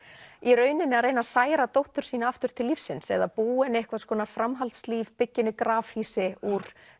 í rauninni að reyna að særa dóttur sína aftur til lífsins eða búa henni einhvers konar framhaldslíf byggja henni grafhýsi úr